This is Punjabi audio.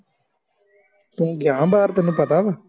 ਤੂੰ ਗਯਾ ਬਾਹਰ ਤੈਨੂੰ ਪਤਾ ਵਾ